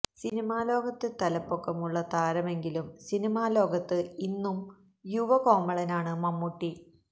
cinema ലോകത്ത് തലപ്പൊക്കമുള്ള താരങ്കെിലും സിനിമാ ലോകത്ത് ഇന്നും യുവകോമളനാണ് മമ്മൂട്ടി